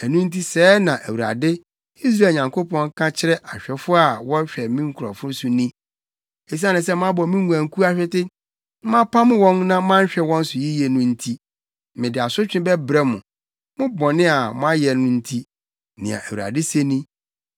Ɛno nti sɛɛ na Awurade, Israel Nyankopɔn, ka kyerɛ ahwɛfo a wɔhwɛ me nkurɔfo so ni: “Esiane sɛ moabɔ me nguankuw ahwete, na moapam wɔn na moanhwɛ wɔn so yiye no nti, mede asotwe bɛbrɛ mo, mo bɔne a moayɛ no nti,” nea Awurade se ni.